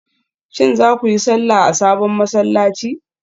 Shin za ku yi sallah a sabon masallaci?